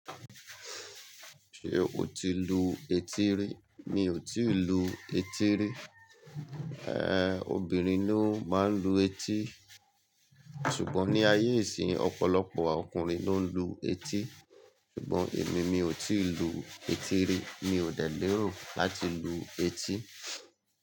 Ṣé o ti lu etí rí? Mi ò tíì lu etí rí. Ehn, obìnrin ló máa ń lu etí. Ṣùgbọ́n ní ayé ìsínyi ọ̀pọ̀lọpọ̀ ọkùnrin ló ń lu etí. Ṣùgbọ́n èmi, mi ò tíì lu etí rí, mi ò dẹ́ lẹ̀rò láti lu etí.